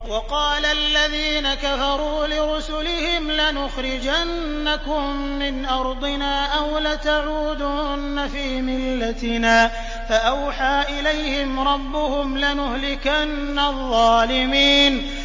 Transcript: وَقَالَ الَّذِينَ كَفَرُوا لِرُسُلِهِمْ لَنُخْرِجَنَّكُم مِّنْ أَرْضِنَا أَوْ لَتَعُودُنَّ فِي مِلَّتِنَا ۖ فَأَوْحَىٰ إِلَيْهِمْ رَبُّهُمْ لَنُهْلِكَنَّ الظَّالِمِينَ